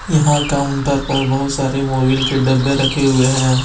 यहां काउंटर पर बहुत सारे मोबिल के डब्बे रखे हुए हैं।